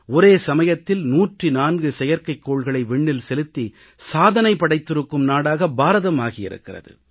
ஒரே சமயத்தில் 104 செயற்கைகோள்களை விண்ணில் செலுத்தி சாதனை படைத்திருக்கும் நாடாக பாரதம் உருப்பெற்று இருக்கிறது